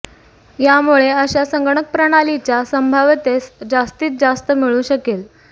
यामुळे अशा संगणक प्रणालीच्या संभाव्यतेस जास्तीत जास्त मिळू शकेल